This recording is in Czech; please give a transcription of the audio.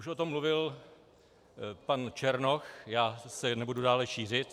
Už o tom mluvil pan Černoch, já se nebudu dále šířit.